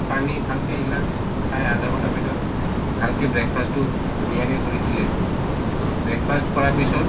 পানী ভালকে এগিলাছ চায় আধা ঘন্টা পিছত ভালকে breakfast তো ধুনীয়াকে কৰি পেলে তো breakfast কৰা পিছত